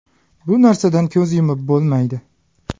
Bu narsadan ko‘z yumib bo‘lmaydi.